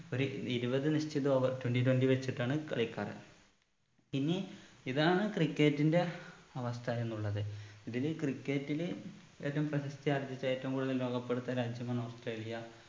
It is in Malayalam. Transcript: ഒരു ഇരുപത് നിശ്ചിത over twenty twenty വെച്ചിട്ടാണ് കളിക്കാറ് ഇനി ഇതാണ് cricket ന്റെ അവസ്ഥ എന്നുള്ളത് ഇതിൽ cricket ൽ ഏറ്റവും പ്രശസ്‌തിയാർജ്ജിച്ച ഏറ്റവും കൂടുതൽ ലോക കപ്പ് എടുത്ത രാജ്യമാണ് ഓസ്ട്രേലിയ